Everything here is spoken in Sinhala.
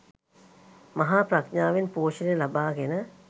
මහා ප්‍රඥාවෙන් පෝෂණය ලබාගෙන